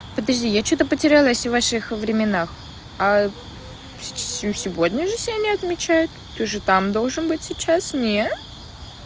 подожди я что-то потерялась в ваших временах а ну сегодня же сегодня отмечают ты же там должен быть сейчас нет